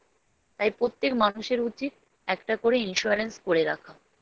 তাই পোত্যেক মানুষের উচিৎ একটা করে Insurance করে রাখা